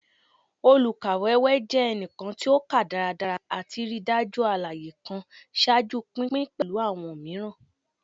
Olukawewe jẹ ẹnikan ti o ka daradara ati rii daju alaye kan, ṣaaju pinpin pẹlu awọn miiran.